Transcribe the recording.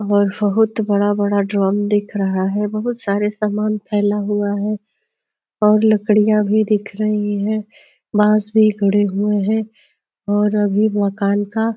और बहोत बड़ा-बड़ा ड्रम दिख रहा है। बहोत सारे सामान फैला हुआ है और लकड़ियाँ भी दिख रही हैं। बांस भी गड़े हुए हैं और अभी मकान का --